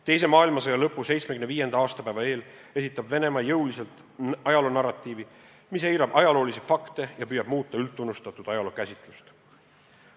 Teise maailmasõja lõpu 75. aastapäeva eel esitab Venemaa jõuliselt ajaloonarratiivi, mis eirab ajaloolisi fakte ja püüab muuta üldtunnustatud ajalookäsitlust.